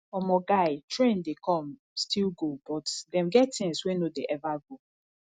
omo guy trend dey come still go but dem get things wey no dey ever go